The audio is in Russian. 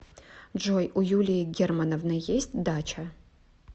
джой у юлии германовны есть дача